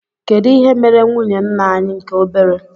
kedụ ihe mere nwụnye ńnà anyị nke obere?